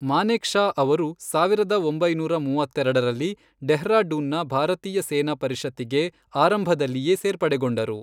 ಮಾನೇಕ್ಷಾ ಅವರು, ಸಾವಿರದ ಒಂಬೈನೂರ ಮೂವತ್ತೆರಡರಲ್ಲಿ ಡೆಹ್ರಾಡೂನ್ ನ ಭಾರತೀಯ ಸೇನಾ ಪರಿಷತ್ತಿಗೆ ಆರಂಭದಲ್ಲಿಯೆ ಸೇರ್ಪಡೆಗೊಂಡರು.